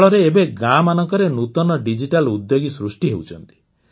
ଫଳରେ ଏବେ ଗାଁମାନଙ୍କରେ ନୂତନ ଡିଜିଟାଲ୍ ଉଦ୍ୟୋଗୀ ସୃଷ୍ଟି ହେଉଛନ୍ତି